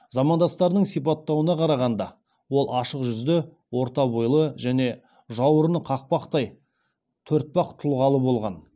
замандастарының сипаттауына қарағанда ол ашық жүзді орта бойлы және жауырыны қақпақтай төртпақ тұлғалы болған